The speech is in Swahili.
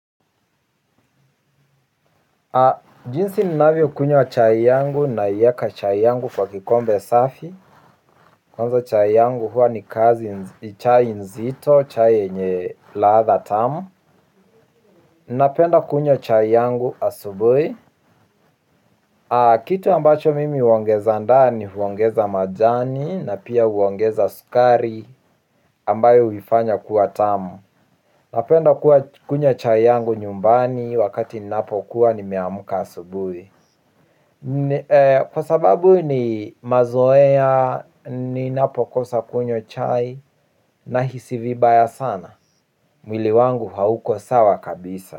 Jinsi ninavyo kunywa chai yangu naiweka chai yangu kwa kikombe safi. Kwanza chai yangu huwa ni kazi chai nzito chai yenye ladha tamu. Napenda kunywa chai yangu asubuhi. Kitu ambacho mimi huongeza ndani huongeza majani na pia huongeza sukari ambayo huifanya kuwa tamu. Napenda kunywa chai yangu nyumbani wakati ninapo kuwa ni meamka asubuhi. Kwa sababu ni mazoea ni napokosa kunywa chai nahisi vibaya sana. Mwili wangu hauko sawa kabisa.